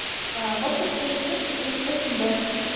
воткинское шоссе сто тридцать восемь б